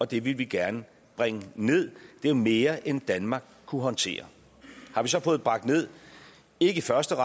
det ville vi gerne bringe ned det var mere end danmark kunne håndtere har vi så fået det bragt ned ikke i første